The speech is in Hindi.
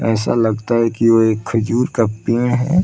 ऐसा लगता है की वो एक खजुर का पेंड़ है।